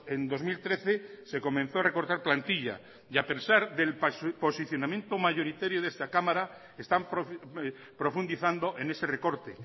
en dos mil trece se comenzó a recortar plantilla y a pesar del posicionamiento mayoritario de esta cámara están profundizando en ese recorte